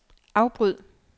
afbryd